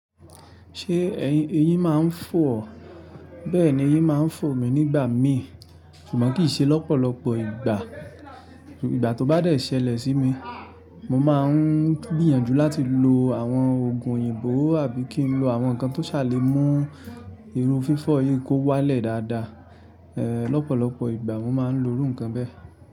Ṣé eyín máa ń fọ́ ọ? Bẹ́ẹ̀ni eyín máa ń fọ̀ mí nígbà mí, ṣùgbọ́n kì í ṣe lọ́pọ̀lọpọ̀ ìgbà. Ìgbà tó bá dẹ̀ sẹlẹ̀ sí mi, mo máa ń gbìyànjú láti lo àwọn òògùn òyìnbó àbí kí n lo àwọn nǹkan tó ṣà lè mú irun fífọ́ eyín kó wálẹ̀ dáadáa. Lọ́pọ̀lọpọ̀ ìgbà mo máa ń lo irú nǹkan bẹ́ẹ̀.